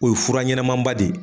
O ye fura ɲɛnɛmanba de ye